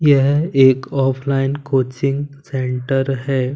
यह एक offline coaching centre है।